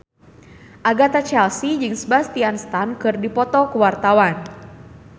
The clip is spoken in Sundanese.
Agatha Chelsea jeung Sebastian Stan keur dipoto ku wartawan